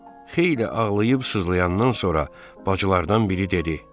Xeyli ağlayıb sızlayandan sonra bacılardan biri dedi: